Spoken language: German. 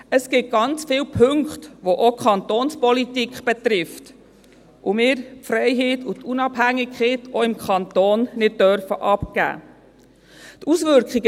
Es gibt ganz viele Punkte, die auch die Kantonspolitik betreffen, weshalb wir die Unabhängigkeit und Freiheit auch im Kanton nicht abgeben dürfen.